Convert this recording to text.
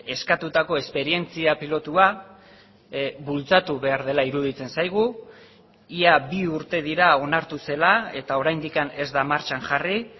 eskatutako esperientzia pilotua bultzatu behar dela iruditzen zaigu ia bi urte dira onartu zela eta oraindik ez da martxan jarri